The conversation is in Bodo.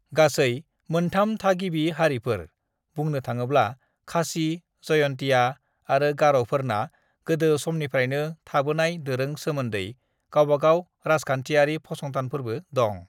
"गासै मोनथाम थागिबि हारिफोर, बुंनो थाड़ोब्ला, खासि, जयन्तिया आरो गार'फोरना गोदो समनिफ्रायनो थाबोनाय दोरों सोमोन्दै गावबागाव राजखानथियारि फसंथानफोरबो दं।"